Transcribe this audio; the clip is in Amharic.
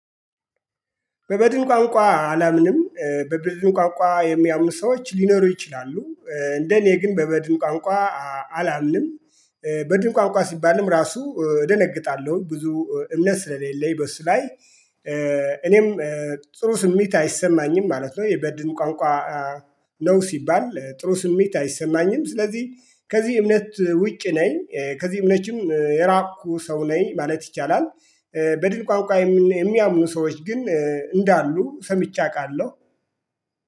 በበድን ቋንቋ አላምንም በበድን ቋንቋ የሚያምኑ ሰዎች ሊኖሩ ይችላሉ እንደ እኔ ግን በበድን ቋንቋ አላምንም። በድን ቋንቋ ሲባልም ራሱ ደነግጣለሁኝ ብዙ እምነት ስለሌለኝ በሱ ላይ። እኔም ጥሩ ስሜት አይሰማኝም ማለት ነው የበድን ቋንቋ። ነው ሲባል ጥሩ ስሜት አይሰማኝም። ስለዚህ ከዚህ እምነት ውጭ ነኝ ከዚህ እምነትም የራኩ ሰው ነኝ ማለት ይቻላል። በድን ቋንቋ የሚያምኑ ሰዎች ግን እንዳሉ ሰምቼ አውቃለሁ